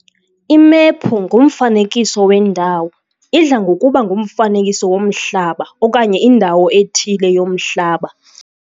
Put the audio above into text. Imephu ngumfanekiso wendawo, idla ngokuba ngumfanekiso womhlaba okanye indawo ethile yomhlaba.